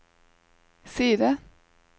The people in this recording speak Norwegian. side